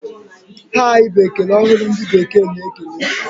Hai! Bụ ekele ọhụrụ ndị bekee na-ekele.